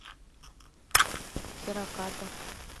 хираката